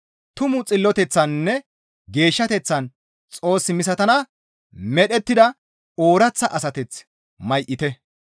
Tumu xilloteththaninne geeshshateththan Xoos misatana medhettida ooraththa asateth may7ite.